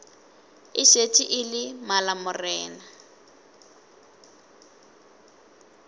e šetše e le malamorena